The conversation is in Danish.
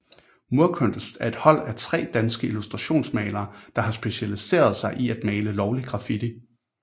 Murkunst er et hold af tre danske illustrationsmalere der har specialiceret sig i at male lovlig graffiti